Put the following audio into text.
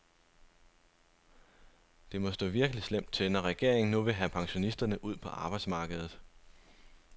Det må stå virkelig slemt til, når regeringen nu vil have pensionisterne ud på arbejdsmarkedet.